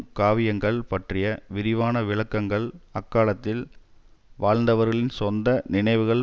காவியங்கள் பற்றிய விரிவான விளக்கங்கள் அக்காலத்தில் வாழ்ந்தவர்களின் சொந்த நினைவுகள்